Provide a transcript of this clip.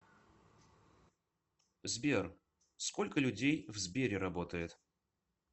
сбер сколько людей в сбере работает